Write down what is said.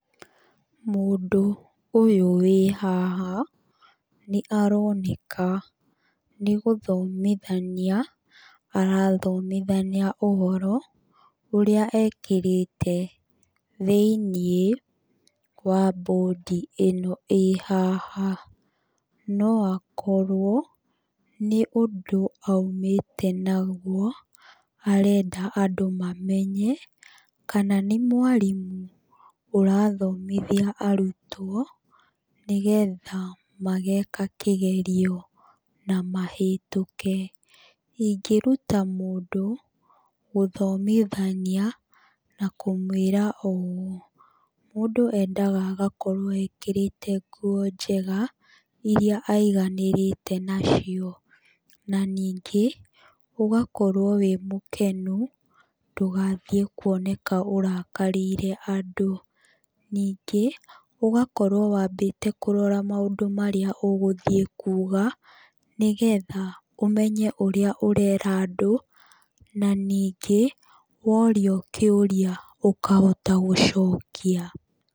Mũndũ ũyũ wĩ haha, nĩ aroneka nĩ gũthomithania arathomithania ũhoro, ũrĩa ekĩrĩte thĩiniĩ, wa bũndi ĩno ĩĩ haha. No akorwo nĩ ũndũ aumĩte naguo, arenda andũ mamenye. Kana nĩ mwarimũ ũrathomithia arutwo, nĩgetha mageka kĩgerio na mahetũke. Ingĩruta mũndũ gũthomithania, na kũmũĩra ũũ, mũndũ endaga agakorwo ekĩrĩte nguo njega, irĩa aiganĩrĩte nacio. Na ningĩ, ũgakorwo wĩ mũkenu, ndũgathiĩ kuoneka ũrakarĩire andũ. Ningĩ, ũgakorwo wambĩte kũrora maũndũ marĩa ũgũthiĩ kuuga, nĩgetha ũmenye ũrĩa ũrera andũ, na ningĩ, worio kĩũria, ũkahota gũcokia.